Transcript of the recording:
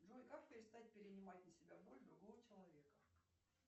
джой как перестать перенимать на себя боль другого человека